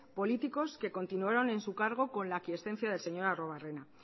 políticos que continuaron en su cargo con la quiescencia del señor arruebarrena